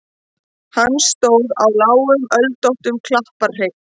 Hann stóð á lágum öldóttum klapparhrygg.